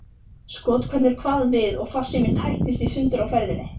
Skothvellur kvað við og farsíminn tættist í sundur á ferðinni.